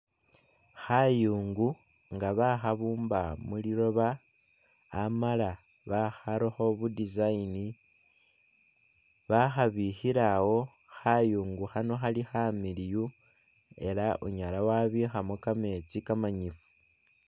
Khayungu ngabakhabumba muliloba amala bakharakho bu'design bakhabikhilawo khayungu khano Khali khamiliyu elah wunyala wabikhamo kametsi kamanyifu